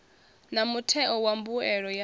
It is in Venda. na mutheo wa mbuelo ya